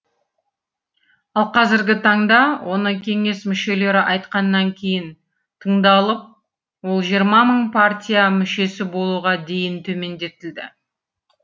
ал қазіргі таңда оны кеңес мүшелері айтқаннан кейін тыңдалып ол жиырма мың партия мүшесі болуға дейін төмендетілді